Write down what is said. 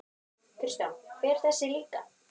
Kristján: Fer þessi líka?